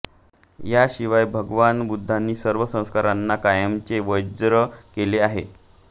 याशिवाय भगवान बुद्धांनी सर्व संस्कारांना कायमचे वर्ज्य केले आहे